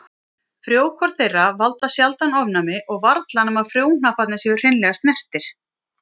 Frjókorn þeirra valda sjaldan ofnæmi og varla nema frjóhnapparnir séu hreinlega snertir.